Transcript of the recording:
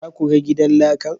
Za ku ga gidan lakan?